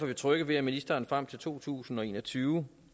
vi trygge ved at ministeren frem til to tusind og en og tyve